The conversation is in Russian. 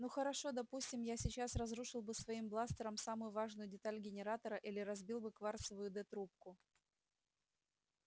ну хорошо допустим я сейчас разрушил бы своим бластером самую важную деталь генератора или разбил бы кварцевую д-трубку